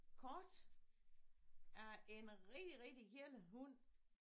Kort af en rigtig rigtig gelle hund